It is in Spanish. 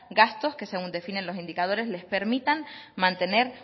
gastos que según definen los indicadores les permitan mantener